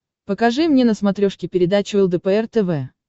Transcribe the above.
покажи мне на смотрешке передачу лдпр тв